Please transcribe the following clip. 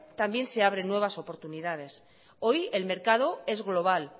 también se abren nuevas oportunidades hoy el mercado es global